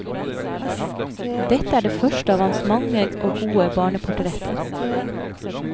Dette er det første av hans mange og gode barneportretter.